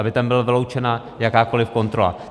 Aby tam byla vyloučena jakákoliv kontrola.